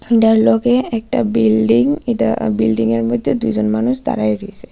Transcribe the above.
এটার লগে একটা বিল্ডিং এটা বিল্ডিংয়ের মধ্যে দুইজন মানুষ দাঁড়ায় রইছে.